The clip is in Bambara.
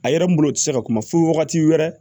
A yɛrɛ n bolo tɛ se ka kuma fɔ wagati wɛrɛ